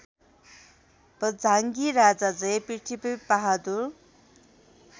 बझाङ्गी राजा जयपृथ्वीबहादुर